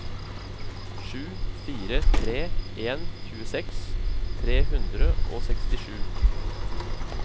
sju fire tre en tjueseks tre hundre og sekstisju